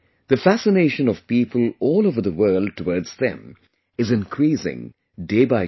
The fascination of people all over the world towards them is increasing day by day